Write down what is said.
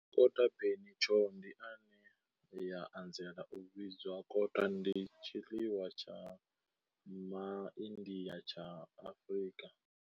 Kota bunny chow, ine ya anzela u vhidzwa kota, ndi tshiḽiwa tsha Ma India tsha Afrika.